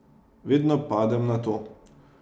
Vedno padem na to.